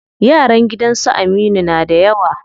Yaran gidan su Aminu na da yawa.